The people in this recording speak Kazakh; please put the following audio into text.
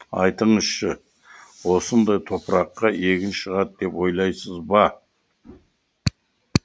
айтыңызшы осындай топыраққа егін шығады деп ойлайсыз ба